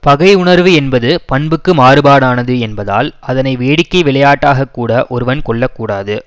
பகை உணர்வு என்பது பண்புக்கு மாறுபாடானது என்பதால் அதனை வேடிக்கை விளையாட்டாகக்கூட ஒருவன் கொள்ள கூடாது